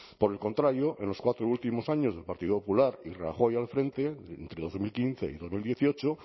por el contrario en los cuatro últimos años del partido popular y rajoy al frente entre dos mil quince y dos mil dieciocho